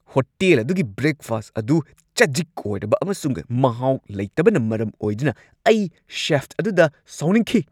Hotel ꯑꯗꯨꯒꯤ breakfast ꯑꯗꯨ ꯆꯖꯤꯛ ꯑꯣꯏꯔꯕ ꯑꯃꯁꯨꯡ ꯃꯍꯥꯎ ꯂꯩꯇꯕꯅ ꯃꯔꯝ ꯑꯣꯏꯗꯨꯅ ꯑꯩ ꯁꯦꯐ ꯑꯗꯨꯗ ꯁꯥꯎꯅꯤꯡꯈꯤ꯫